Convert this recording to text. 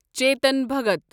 Chetan Bhagat